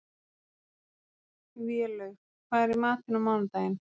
Vélaug, hvað er í matinn á mánudaginn?